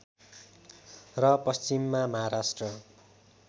र पश्चिममा महाराष्ट्र